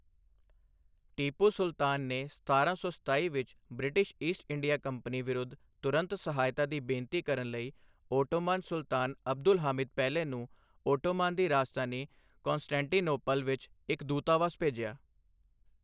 ਟੀਪੂ ਸੁਲਤਾਨ ਨੇ ਸਤਾਰਾਂ ਸੌ ਸਤਾਸੀ ਵਿੱਚ ਬ੍ਰਿਟਿਸ਼ ਈਸਟ ਇੰਡੀਆ ਕੰਪਨੀ ਵਿਰੁੱਧ ਤੁਰੰਤ ਸਹਾਇਤਾ ਦੀ ਬੇਨਤੀ ਕਰਨ ਲਈ ਓਟੋਮਾਨ ਸੁਲਤਾਨ ਅਬਦੁਲ ਹਾਮਿਦ ਪਹਿਲੇ ਨੂੰ ਓਟੋਮਾਨ ਦੀ ਰਾਜਧਾਨੀ ਕੌਂਸਟੈਂਟੀਨੋਪਲ ਵਿੱਚ ਇੱਕ ਦੂਤਵਾਸ ਭੇਜਿਆ।